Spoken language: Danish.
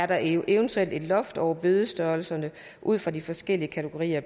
der eventuelt er et loft over bødestørrelserne ud fra de forskellige kategorier af